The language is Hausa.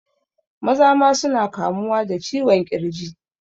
Maza ma suna kamuwa da ciwon ƙirji